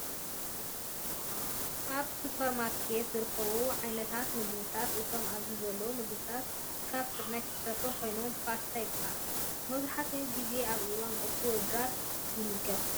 ኣበ ስፖርማርኬት ዝርከቡ ዓየነታት ምግብታተ እቶም ኣብዚ ዘለው ምግብታት ካበ ስርናየ ዝተሰርሑ ኮይኖም ፃስታ ይባሃል። መብዛሕቲኡ ግዜ ኣብ እዋን ቁርሲ ወይ ድራር ይምገብ።